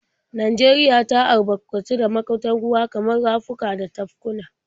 Najeriya ta albarkatu da magudan ruwa kamar rafuka da tafkuna.